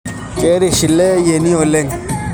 Keirish eele ayieni oleng